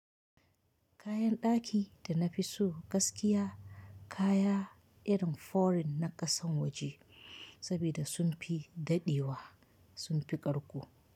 Kayan ɗaki da na fi so gaskiya kaya irin foreign na ƙasan waje saboda sun fi daɗewa sun fi ƙarko.